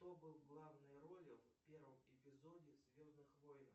кто был в главной роли в первом эпизоде звездных войн